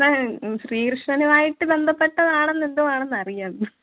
ശ്രി കൃഷ്ണനുമായിട്ട് ബന്ധപ്പെട്ടതാണെന്തോ ആണെന്ന് അറിയാം